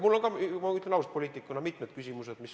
Mul on ka, ma ütlen ausalt, poliitikuna mitmed küsimused.